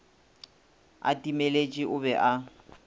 a timeletše o be a